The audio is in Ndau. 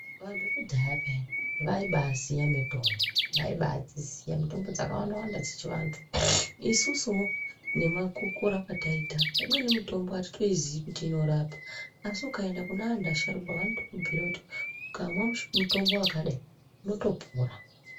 Vanthu vekudhaya pheya vaibaaziye mitombo, vaibaadziziya mitombo dzakawandawanda dzechivandhu. Isusuwo nekukura kwetaita imweni mitombo atitoizii kuti inorapa asi ukaenda kune andhu asharuka vanokubhuira kuti ukamwa mutombo wakadai unotopora.